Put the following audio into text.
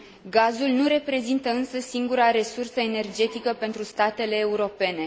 Gazul nu reprezintă însă singura resursă energetică pentru statele europene.